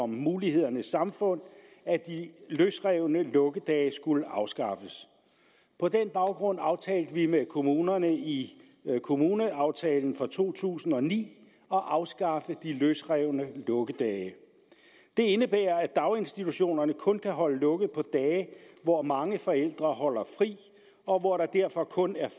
mulighedernes samfund at de løsrevne lukkedage skulle afskaffes på den baggrund aftalte vi med kommunerne i kommuneaftalen for to tusind og ni at afskaffe de løsrevne lukkedage det indebærer at daginstitutionerne kun kan holde lukket på dage hvor mange forældre holder fri og hvor der derfor kun er